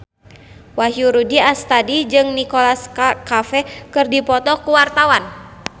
Wahyu Rudi Astadi jeung Nicholas Cafe keur dipoto ku wartawan